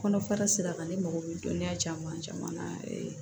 Kɔnɔfara sira kan ne mago bɛ dɔnniya caman caman na